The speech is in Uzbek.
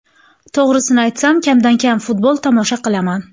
To‘g‘risini aytsam, kamdan kam futbol tomosha qilaman.